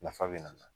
Nafa bɛ na